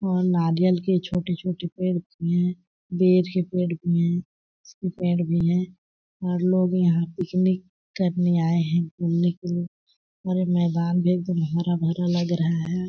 और नारियल के छोटे- छोटे पेड़ भी है बेर के पेड़ भी है पेड़ भी है और लोग यहाँ पिकनिक करने आये है घूमने के लिये और मैदान भी एक दम हरा-भरा लग रहा हैं।